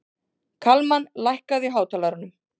Kalmann, lækkaðu í hátalaranum.